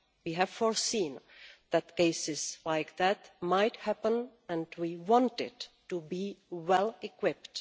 We have foreseen that cases like this might happen and we wanted to be well equipped.